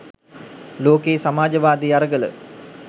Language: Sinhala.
ලෝකයේ සමාජවාදී අරගල